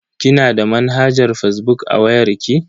Kina da manhajar fazbuk a wayar ki?